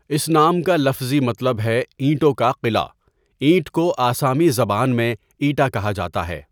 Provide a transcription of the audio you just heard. اس نام کا لفظی مطلب ہے 'اینٹوں کا قلعہ'، اینٹ کو آسامی زبان میں 'ایٹا' کہا جاتا ہے۔